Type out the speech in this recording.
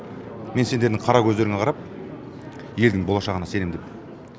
мен сендердің қара көздеріңе қарап елдің болашағына сенем деп